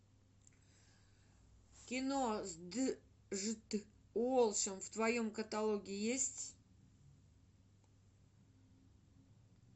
кино с джт уолшем в твоем каталоге есть